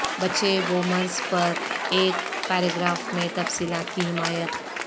بچے بوومرز پر ایک پیراگراف میں تفصیلات کی حمایت